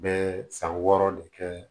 Bɛ san wɔɔrɔ de kɛ